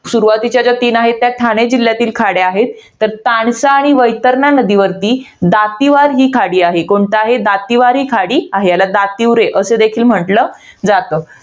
सुरवातीच्या ज्या तीन आहेत, त्या ठाणे जिल्ह्यातील खाड्या आहेत. तर तानसा आणि वैतरणा नदीवरती, दातीवार ही खाडी आहे. कोणती आहे? दातीवर ही खाडी आहे. याला दातिवरे असे देखील म्हंटल जातं.